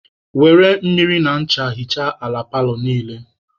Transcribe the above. Were mmiri na ncha hichaa ala paalọ niile.